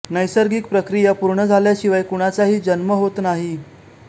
नैसर्गिक प्रक्रिया पूर्ण झाल्याशिवाय कुणाचाही जन्म होत नाही